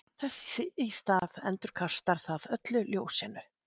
Þess í stað endurkastar það öllu ljósinu.